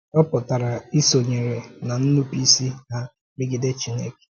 Ọ pụtara ìsònyèrè ná nnùpụ̀ísì ha megide Chineke.